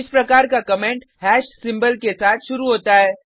इस प्रकार का कमेंट सिंबल के साथ शुरू होता है